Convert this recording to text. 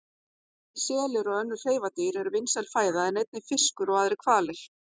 Selir og önnur hreifadýr eru vinsæl fæða en einnig fiskur og aðrir hvalir.